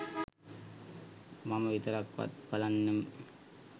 මම විතරක්වත් බලන්නම්.